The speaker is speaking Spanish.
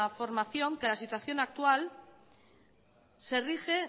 formación que la situación actual se rige